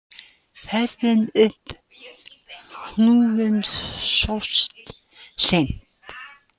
Ferðin upp hnúkinn sóttist seint